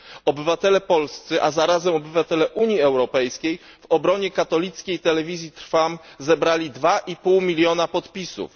Obywatele polscy, a zarazem obywatele Unii Europejskiej, w obronie katolickiej Telewizji Trwam zebrali 2,5 miliona podpisów.